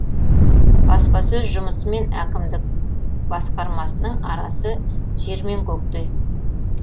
баспасөз жұмысы мен әкімдік басқармасының арасы жер мен көктей